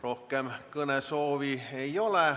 Rohkem kõnesoove ei ole.